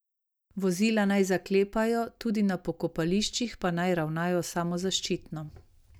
Vozila naj zaklepajo, tudi na pokopališčih pa naj ravnajo samozaščitno.